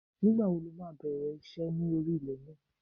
Nígbà wo ni o máa bẹ̀rẹ̀ iṣẹ́ ní orí ilẹ̀ náà